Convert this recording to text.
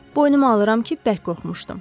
Boynuma alıram ki, bərk qorxmuşdum.